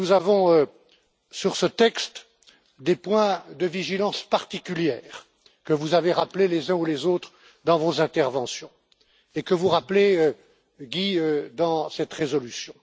Nous avons, sur ce texte, des points de vigilance particulière, que vous avez rappelés les uns ou les autres dans vos interventions et que vous rappelez, Guy Verhofstadt, dans cette résolution.